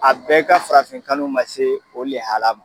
A bɛɛ ka farafin kanu ma se o lihala ma.